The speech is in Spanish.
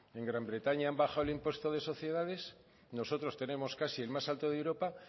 en gran bretaña han bajado el impuesto de sociedades nosotros tenemos casi el más alto de europa